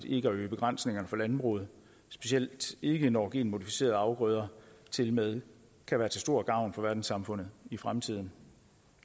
ikke at øge begrænsningerne for landbruget specielt ikke når genmodificerede afgrøder tilmed kan være til stor gavn for verdenssamfundet i fremtiden